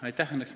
Aitäh!